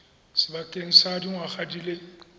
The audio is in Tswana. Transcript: sebakeng sa dingwaga di le